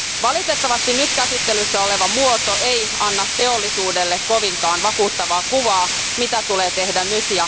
Valitettavasti nyt käsittelyssä oleva muoto ei anna teollisuudelle kovinkaan vakuuttavaa kuvaa siitä, mitä tulee tehdä nyt.